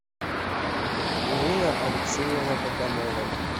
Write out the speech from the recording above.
нина алексеевна богомолова